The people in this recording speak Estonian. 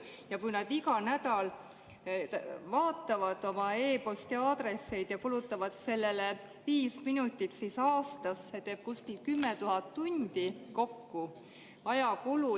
Ja kui nad iga nädal vaatavad oma e-posti aadressi ja kulutavad sellele viis minutit, siis aastas see teeb kokku kuskil 10 000 tundi ajakulu.